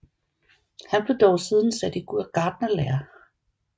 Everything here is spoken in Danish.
Han blev dog siden sat i gartnerlære